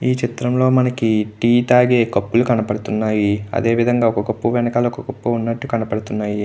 ఈ చిత్రం లో మనకి టీ తాగే కప్పులు కనపడుతున్నాయి. అదే విధంగ ఒక కప్పు వెనకాల ఇంకొక కప్పు ఉన్నట్టు కనపడుతున్నాయి .